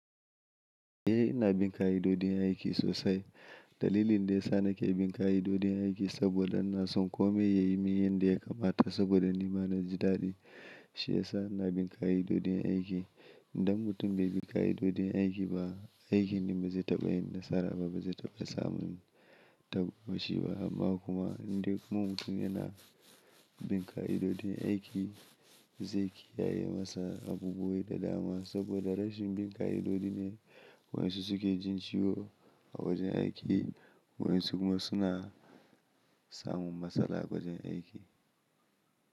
Eh ina bin ka'idodin aiki sosai. Dalilin da ya sa nake bin ka'idodin aiki saboda ina san kome yayi miyan da ya kamata saboda ni ma na ji daɗi. Shi ya sa ina bin ka'idojin aiki. Idan mutum bai bi ka'idojin aiki ba, aikin shi ba zai taɓa yin nasara ba, ba zai taɓa samun tawashi ba. Amma kuma indai kuma mutum yana bin ka'idojin aiki zai kiyaye masa abubuwai da dama saboda rashin bin ka'idoji ne wayan su suke jin ciwo a wajen aiki, wayan su kuma suna samun matsala a wajen aiki.